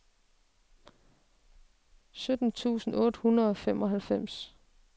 sytten tusind otte hundrede og femoghalvfems